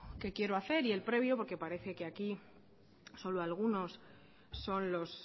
que quiero hacer y el previo porque parece que aquí solo algunos son los